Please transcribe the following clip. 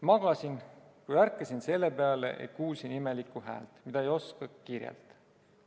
"Magasin, kui ärkasin selle peale, et kuulsin imelikku häält, mida ei oska kirjeldada.